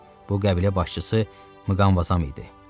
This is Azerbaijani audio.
Bu qəbilə başçısı Muqamvazam idi.